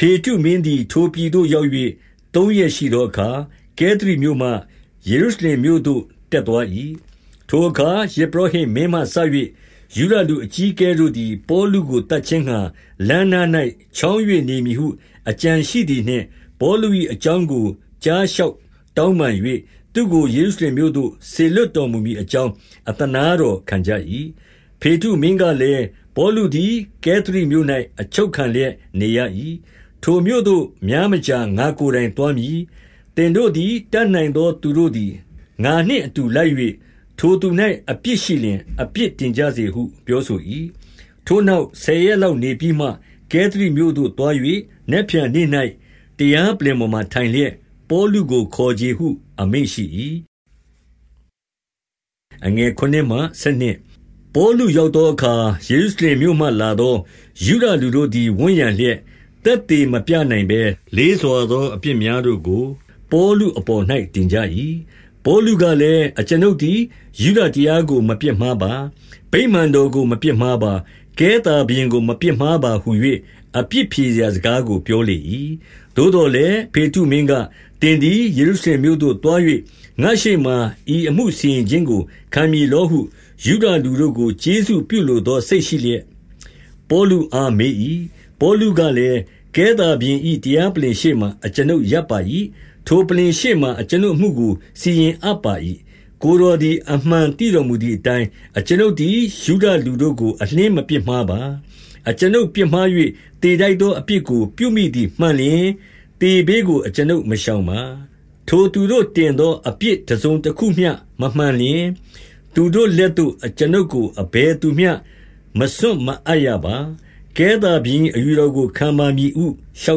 ဖေတ္တုမင်းသည် ထိုပြည်သို့ရောက်၍ သုံးရက်ရှိ သောအခါ၊ ကဲသရိမြို့မှ ယေရုရှလင်မြို့သို့ တက်သွား၏။ ထိုအခါယဇ်ပုရောဟိတ်မင်းမှစ၍ ယုဒလူ အကြီးအကဲတို့သည်၊ ပေါလုကို သတ်ခြင်းငှါ လမ်းနား၌ ချောင်း၍ နေမည်ဟုအကြံရှိသည်နှင့်၊ ပေါလု၏အကြောင်းကို ကြားလျှောက်တောင်းပန်၍၊ သူ့ကို ယေရုရှလင်မြို့သို့ စေလွှတ်တော်မူမည်အကြောင်း အသနားတော်ခံကြ၏။ ဖေတ္တုမင်းကလည်း၊ ပေါလုသည် ကဲသရိမြို့၌ အချုပ်ခံလျက်နေရ၏။ ထိုမြို့သို့များမကြာ ငါ့ကိုယ်တိုင် သွားမည်။ သင်တို့သည် တတ်နိုင်သောသူတို့သည် ငါနှင့် အတူလိုက်၍၊ ထိုသူ၌အပြစ်ရှိလျှင် အပြစ်တင်ကြစေဟု ပြောဆို၏။ ထိုနောက် ဆယ်ရက်လောက်နေပြီးမှ ကဲသရိမြို့သို့ သွား၍၊ နက်ဖြန်နေ့၌တရားပလ္လင်ပေါ်မှာ ထိုင်လျက်၊ ပေါလုကိုခေါ်ချေဟု အမိန့်ရှိ၏။ ပေါလုရောက်သောအခါ၊ ယေရုရှလင်မြို့မှ လာသော ယုဒလူတို့သည်ဝန်းရံလျက်၊ သက်သေမပြနိုင်ဘဲ လေးစွာသောအပြစ်များတို့ကို ပေါလုအပေါ်၌တင်ကြ၏။ ပေါလုကလည်း၊ အကျွန်ုပ်သည်ယုဒတရားကို မပြစ်မှားပါ။ ဗိမာန်တော်ကိုမပြစ်မှားပါ။ ကဲသာဘုရင်ကို မပြစ်မှားပါဟူ၍ အပြစ်ဖြေရာစကားကိုပြောလေ၏။ သို့သော်လည်း၊ ဖေတ္တုမင်းက၊ သင်သည် ယေရုရှလင်မြို့သို့သွား၍၊ ငါ့ရှေ့မှာဤအမှုစီရင်ခြင်းကို ခံမည်လောဟု ယုဒလူတို့ကို ကျေးဇူးပြုလိုသော စိတ်ရှိလျက် ပေါလုအားမေး၏။ ပေါလုကလည်း၊ ကဲသာဘုရင်၏ တရားပလ္လင် ရှေ့မှာ အကျွန်ုပ်ရပ်ပါ၏။ ထိုပလ္လင်ရှေ့မှာ အကျွန်ုပ် အမှုကိုစီရင်အပ်ပါ၏။ ကိုယ်တော်သည် အမှန်သိတော်မူ သည်အတိုင်း၊ အကျွန်ုပ်သည်ယုဒလူတို့ကို အလျှင်းမပြစ် မှားပါ။ အကျွန်ုပ်ပြစ်မှား၍ သေထိုက်သော အပြစ်ကို ပြုမိသည်မှန်လျှင်၊ သေဘေးကိုအကျွန်ုပ်မရှောင်ပါ။ ထိုသူတို့တင်သောအပြစ် တစုံတခုမျှ မမှန်လျှင်၊ သူတို့ လက်သို့ အကျွန်ုပ်ကိုအဘယ်သူမျှမစွန့်မအပ်ရပါ။ ကဲသာဘုရင်၏အယူတော်ကိုခံပါမည်ဟု လျှော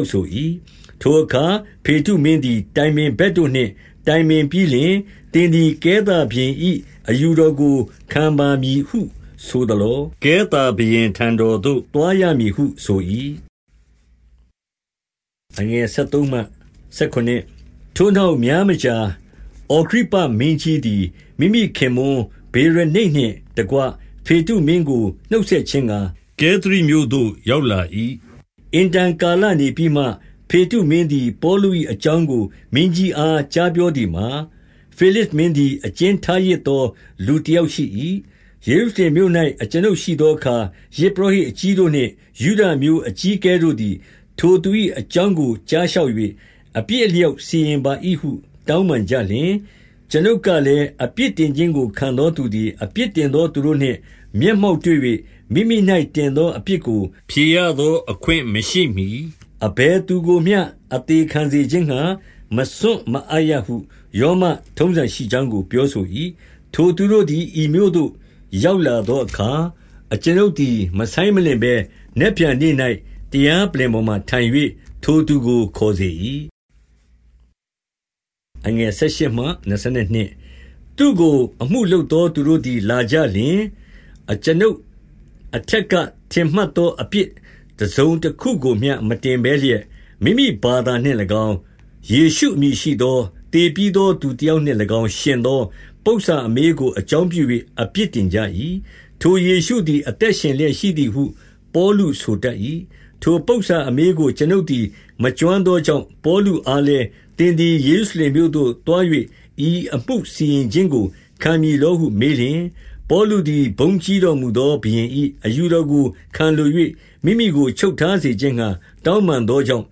က်ဆို၏။ ထိုအခါဖေတ္တုမင်းသည် တိုင်ပင်ဘက်တို့နှင့် တိုင်ပင်ပြီးလျှင်၊ သင်သည်ကဲသာဘုရင်၏ အယူတော်ကို ခံပါမည်ဟုဆိုသလော။ ကဲသာဘုရင်ထံတော်သို့ သွားရမည်ဟုဆို၏။ ထိုနောက်များမကြာ၊ အဂြိပ္ပမင်းကြီးသည် မိမိ ခင်ပွန်းဗေရနိတ်နှင့်တကွ ဖေတ္တုမင်းကိုနှုတ်ဆက်ခြင်းငှါ ကဲသရိမြို့သို့ ရောက်လာ၏။ အင်တန်ကာလနေပြီးမှ ဖေတ္တုမင်းသည် ပေါလု၏အကြောင်းကို မင်းကြီးအားကြားပြောသည်မှာ၊ ဖေလဇ် မင်းသည်အကျဉ်းထားရစ်စေသော လူတယောက်ရှိ၏။ ယေရုရှလင်မြို့၌ အကျွန်ုပ်ရှိသောအခါ၊ ယဇ် ပုရောဟိတ်အကြီးတို့နှင့် ယုဒအမျိုးအကြီးအကဲတို့သည်၊ ထိုသူ၏အကြောင်းကို ကြားလျှောက်၍ အပြစ်အလျောက် စီရင်ပါဟု တောင်းပန်ကြလျှင်၊ ကျွန်ုပ်ကလည်း၊ အပြစ်တင်ခြင်းကို ခံသောသူ သည် အပြစ်တင်သော သူတို့နှင့်မျက်မှောက်တွေ့၍၊ မိမိ၌တင်သောအပြစ်ကိုဖြေရသော အခွင့်မရှိမှီ၊ အဘယ် သူကိုမျှ အသေခံစေခြင်းငှါ မစွန့်မအပ်ရဟု ရောမ ထုံးစံ ရှိကြောင်းကို ပြောဆို၏။ ထိုသူတို့သည်ဤမြို့သို့ ရောက်လာသောအခါ၊ ကျွန်ုပ်သည် မဆိုင်မလင့်ဘဲနက်ဖြန်နေ့၌ တရားပလ္လင် ပေါ်မှာ ထိုင်၍ ထိုသူကိုခေါ်စေ၏။ သူ့ကို အမှုလုပ်သော သူတို့သည် လာကြလျှင်၊ ကျွန်ုပ်အထက်က ထင်မှတ်သော အပြစ်တစုံတခုကိုမျှ မတင်ဘဲလျက်၊ မိမိဘာသာနှင့်၎င်း၊ ယေရှုအမည်ရှိသော၊ သေပြီးသော သူတယောက်နှင့်၎င်း ယှဉ်သော ပုစ္ဆာအမေးကို အကြောင်းပြု၍ အပြစ်တင်ကြ၏။ ထိုယေရှုသည် အသက်ရှင်လျက်ရှိသည်ဟု ပေါလုဆိုတတ်၏။ ထိုပုစ္ဆာအမေးကို ကျွန်ုပ်သည် မကျွမ်းသော ကြောင့်၊ ပေါလုအားလည်း၊ သင်သည်ယေရုရှလင်မြို့သို့ သွား၍ ဤအမှုစီရင်ခြင်းကို ခံမည်လောဟုမေးလျှင်၊ ပေါလုသည်ဘုန်းကြီးတော်မူသော ဘုရင်၏ အယူတော်ကို ခံလို၍ မိမိကိုချုပ်ထားစေခြင်းငှါ တောင်းပန်သောကြောင့်၊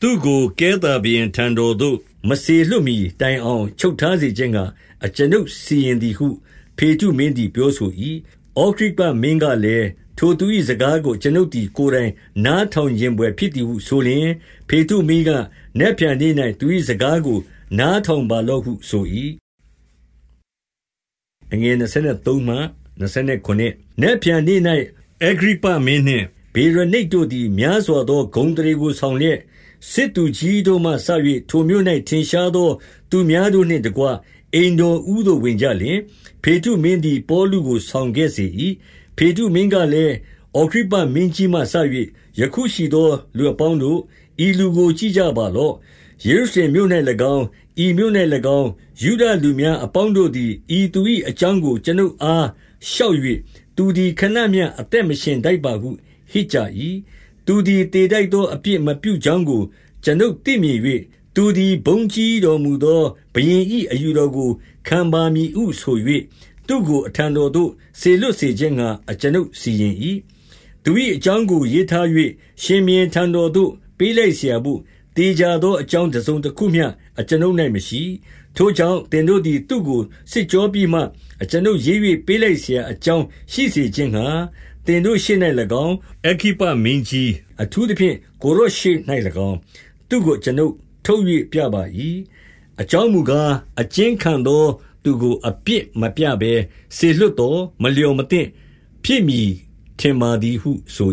သူ့ကိုကဲသာဘုရင်ထံတော် သို့မစေလွှတ်မှီတိုင်အောင် ချုပ်ထားစေခြင်းငှါ ကျွန်ုပ် စီရင်သည်ဟု ဖေတ္တုမင်းသည် ပြောဆို၏။ အဂြိပ္ပမင်းကလည်း၊ ထိုသူ၏စကားကို ကျွန်ုပ်သည် ကိုယ်တိုင်နားထောင်ချင်ဘွယ်ဖြစ်သည်ဟု ဆိုလျှင်၊ ဖေတ္တုမင်းက၊ နတ်ဖြန်နေ့၌ သူ၏စကားကိုနားထောင်ပါလော့ဟု ဆို၏။ နက်ဖြန်နေ့၌ အဂြိပ္ပမင်းနှင့်ဗေရနိတ်တို့သည် များစွာသော ဂုဏ်အသရေကို ဆောင်လျက်၊ စစ်သူကြီးတို့မှစ၍ ထိုမြို့၌ထင်ရှားသော သူများတို့နှင့်တကွ အိမ်တော်ဦးသို့ ဝင်ကြလျှင်၊ ဖေတ္တုမင်းသည်ပေါလု ကိုဆောင်ခဲ့စေ၏။ ဖေတ္တုမင်းကလည်း၊ အဂြိပ္ပမင်းကြီးမှစ၍ ယခုရှိသောသူ အပေါင်းတို့၊ ဤသူကိုကြည့်ကြပါလော့။ ယေရုရှလင်မြို့၌၎င်း၊ ဤမြို့၌၎င်း ယုဒလူများအပေါင်း တို့သည် ဤသူ၏အကြောင်းကို ကျွန်ုပ်အား လျှောက်၍၊ သူသည်ခဏမျှအသက်မရှင်ထိုက်ပါဟု ဟစ်ကြ၏။ သူသည်သေထိုက်သော အပြစ်မပြုကြောင်းကို ကျွန်ုပ်သိမြင်၍၎င်း၊ သူသည်ဘုန်းကြီတော်မူသော ဘုရင်၏ အယူတော်ကိုခံပါမည်ဟုဆို၍၎င်း၊ သူ့ကိုအထံတော်သို့ စေလွှတ်စေခြင်းငှါ ကျွန်ုပ်စီရင်၏။ သူ၏အကြောင်းကို ရေးထား၍၊ ရှင်ဘုရင်ထံတော်သို့ ပေးလိုက်စရာဘို့၊ သေချာသောအကြောင်း တစုံတခုမျှ ကျွန်ုပ်၌မရှိ။ ထိုကြောင့် သင်တို့သည် သူ့ကို စစ်ကြောပြီးမှ၊ ကျွန်ုပ်ရေး၍ပေးလိုက်စရာ အကြောင်း ရှိစေခြင်းငှါ သင်တို့ရှေ့၌၎င်း၊ အဂြိပ္ပမင်းကြီး၊ အထူးသဖြင့် ကိုယ်တော်ရှေ့၌၎င်း၊ သူ့ကိုကျွန်ုပ်ထုတ်၍ပြ၏။ အကြောင်းမူကား၊ အကျဉ်းခံသောသူကို အပြစ် မပြဘဲ စေလွှတ်သော် မလျော်မသင့်ဖြစ်မည် ထင်ပါသည် ဟုဆို